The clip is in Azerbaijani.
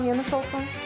Hamıya nuş olsun.